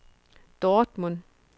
Dortmund